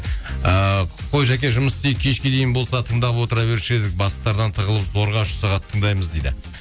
ыыы қой жаке жұмыс істейік кешке дейін болса тыңдап отыра беруші едік бастықтардан тығылып зорға үш сағат тыңдаймыз дейді